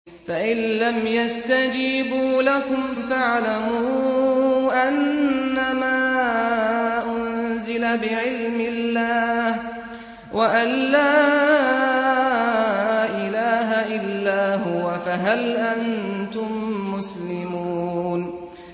فَإِلَّمْ يَسْتَجِيبُوا لَكُمْ فَاعْلَمُوا أَنَّمَا أُنزِلَ بِعِلْمِ اللَّهِ وَأَن لَّا إِلَٰهَ إِلَّا هُوَ ۖ فَهَلْ أَنتُم مُّسْلِمُونَ